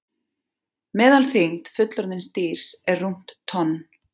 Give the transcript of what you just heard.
Meðalþyngd fullorðins dýrs er rúmt tonn.